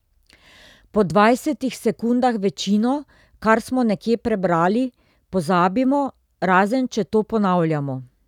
Po dvajsetih sekundah večino, kar smo nekje prebrali, pozabimo, razen če to ponavljamo.